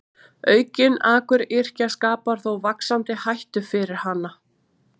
Aukin akuryrkja skapar þó vaxandi hættu fyrir hana.